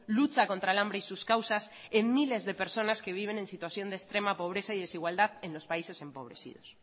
lucha contra el hambre y sus causas en miles de personas que viven en situación de extrema pobreza y desigualdad en los países empobrecidos